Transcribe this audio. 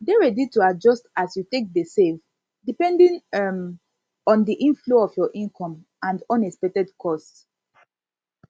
dey ready to adjust as to adjust as you take de save depending um on the inflow of your income and unexpected costs